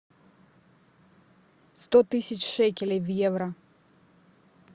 сто тысяч шекелей в евро